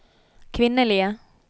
kvinnelige